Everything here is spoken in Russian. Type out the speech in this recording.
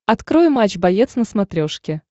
открой матч боец на смотрешке